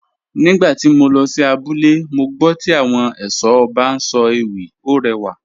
Nígbà tí mo lọ sí abúlé, mo gbọ́ tí àwọn ẹ̀ṣọ́ ọba ń sọ ewì, ó rẹwà